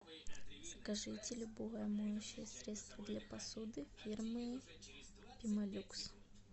закажите любое моющее средство для посуды фирмы пемолюкс